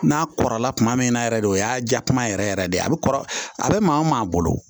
N'a kɔrɔla kuma min na yɛrɛ de o y'a ja kuma yɛrɛ yɛrɛ de a bɛ kɔrɔ a bɛ maa o maa bolo